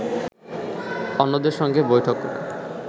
অন্যদের সঙ্গে বৈঠক করে